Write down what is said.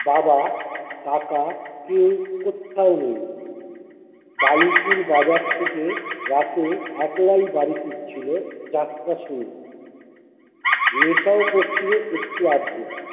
বাবা, কাকা কেউ কোত্থাও নেই বালুচির বাজার থেকে রাতে একলাই বাড়ি ফিরছিলো যাত্রা শুনে। নেশাও করছিলো একটু আধটু